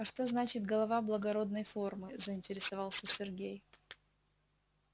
а что значит голова благородной формы заинтересовался сергей